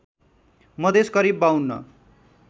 मधेस करिब ५२